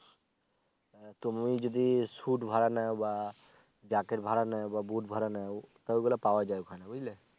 তুমি যদি শুট ভাড়া নাও বা জ্যাকেট ভাড়া নাও বা বুট ভাড়া নাও তা ঐ গুলা পাওয়া যায় ওখানে বুঝলে